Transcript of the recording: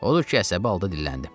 Odur ki, əsəbi halda dilləndim.